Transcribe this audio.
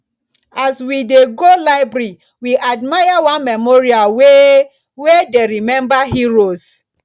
as we dey go library we admire one memorial wey wey dey remember heroes